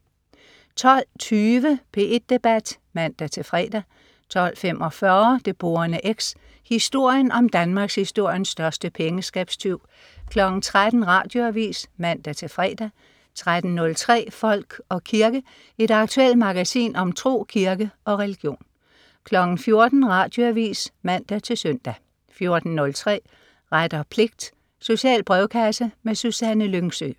12.20 P1 Debat (man-fre) 12.45 Det Borende X. Historien om Danmarkshistoriens største pengeskabstyv 13.00 Radioavis (man-fre) 13.03 Folk og kirke. Et aktuelt magasin om tro, kirke og religion 14.00 Radioavis (man-søn) 14.03 Ret og pligt. Social brevkasse. Susanne Lyngsø